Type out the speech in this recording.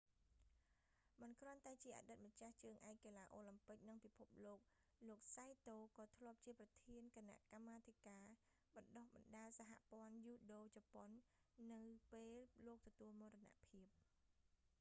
មិនគ្រាន់តែជាអតីតម្ចាស់ជើងឯកកីឡាអូឡាំពិក និងពិភពលោក លោក saito សៃតូ ក៏ធ្លាប់ជាប្រធានគណៈកម្មាធិការបណ្តុះបណ្តាលសហព័ន្ធយូដូជប៉ុន នៅពេលលោកទទួលមរណភាព